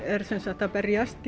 er sem sagt að berjast